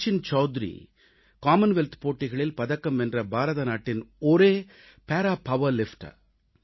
Sachin Chaudhary Commonwealth போட்டிகளில் பதக்கம் வென்ற பாரதநாட்டின் ஒரே para power lifter para power lift her